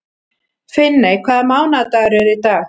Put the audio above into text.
Finney, hvaða mánaðardagur er í dag?